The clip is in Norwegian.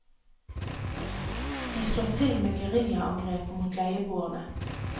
De slår til med geriljaangrep mot leieboerne.